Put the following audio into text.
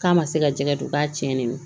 K'a ma se ka jɛgɛ don k'a tiɲɛni don